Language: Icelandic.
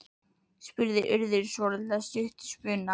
spurði Urður svolítið stutt í spuna.